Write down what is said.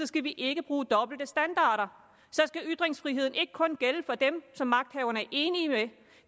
skal vi ikke bruge dobbelte standarder så skal ytringsfriheden ikke kun gælde for dem som magthaverne er enige med den